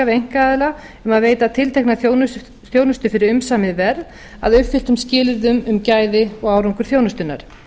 einkaaðila um að veita tiltekna þjónustu fyrir umsamið verð að uppfylltum skilyrðum um gæði og árangur þjónustunnar